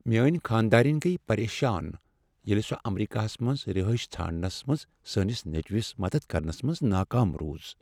میٲنۍ خانٛدارٕنۍ گٔیۍ پریشان ییٚلہ سۄ امریکہس منٛز رہٲیشہ ژھانٛڑنس منٛز سٲنس نیچوس مدد کرنس منٛز ناکام روٗز۔